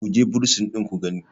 ku je bursin ɗin ku gani!